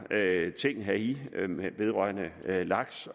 ting heri vedrørende laks